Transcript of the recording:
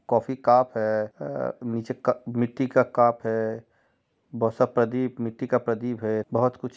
coffee cup हैं ह नीचे क मिट्टी का कप हैं बहुत सब प्रदीप मिट्टी का प्रदीप हैं बहुत कुछ--